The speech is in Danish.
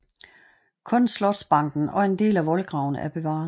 Kun slotsbanken og en del af voldgraven er bevaret